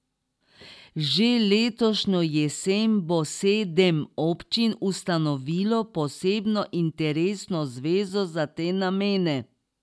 Že letošnjo jesen bo sedem občin ustanovilo posebno interesno zvezo za te namene.